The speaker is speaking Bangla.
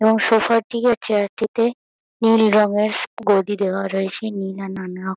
এবং সোফা -টি আর চেয়ার -টিতে নীল রঙের গদি দেওয়া রয়েছে নীল আর নানারক--